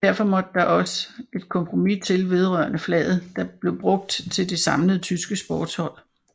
Derfor måtte der også et kompromis til vedrørende flaget der blev brugt til det samlede tyske sportshold